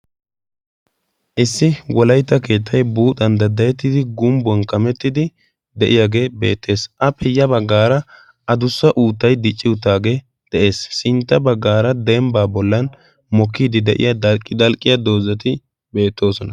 Issi walaytta keettay buuxan daddayettidi gumbbuwan kamettidi de'iyaagee beettees. a peyya baggaara adussa uuttay dicci uttaagee de7ees sintta baggaara dembbaa bollan mokkiidi de'iya dalqqiya doozati beettoosona.